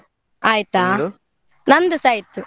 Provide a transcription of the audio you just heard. ನಂದುಸ ಆಯ್ತು.